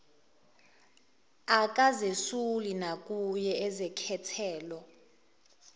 akazesuli nakuye uzekhethelo